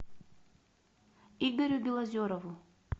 игорю белозерову